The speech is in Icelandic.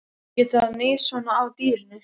Að geta níðst svona á dýrinu.